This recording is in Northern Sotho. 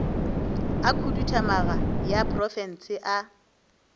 a khuduthamaga ya profense a